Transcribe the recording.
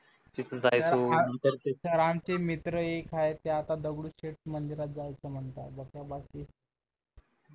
सरांचे मित्र एक आहे ते आता दगडूशेट मंदिरात जायचं म्हणताय